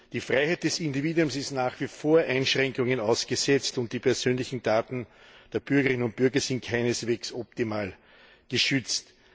Die Freiheit des Individuums ist nach wie vor Einschränkungen ausgesetzt und die persönlichen Daten der Bürgerinnen und Bürger sind keineswegs optimal geschützt.